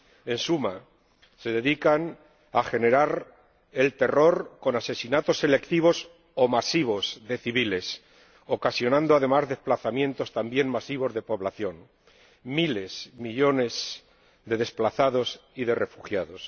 En suma, se dedican a generar el terror con asesinatos selectivos o masivos de civiles, ocasionando, además, desplazamientos también masivos de población miles, millones de desplazados y de refugiados.